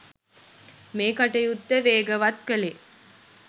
මේ කටයුත්ත වේගවත් කළේ